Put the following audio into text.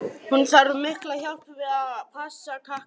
Hún þarf mjög mikla hjálp við að passa krakkana.